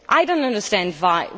it. I do not understand why.